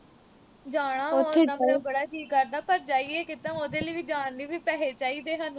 ਜਾਣਾ ਮੈਂ ਬੜਾ ਜੀਅ ਕਰਦਾ ਪਰ ਜਾਈਏ ਕਿੱਦਾਂ, ਉਹਦੇ ਲਈ ਵੀ ਜਾਣ ਲਈ ਵੀ ਪੈਸੇ ਚਾਹੀਦੇ ਸਾਨੂੰ